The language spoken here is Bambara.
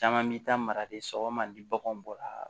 Caman bi taa mara de sɔgɔma ni baganw bɔra